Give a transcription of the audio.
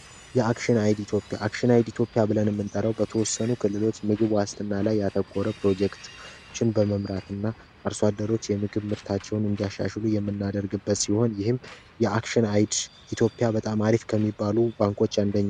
የአክሽናይድ ኢትዮጵያ ብለን የምንጠራው በተወሰነ ክልሎች ምግብ ዋስትና ላይ ያተኮረ ፕሮጀክት በመምራትና አርሶ አደሮች የምግብ ምርታቸውን እንዲያሻሽሉ የምናደርግበት ሲሆን ይህም የአክሽናይድ ኢትዮጵያ በጣም አሪፍ ከሚባሉ ባንኮች አንደኛው ነው።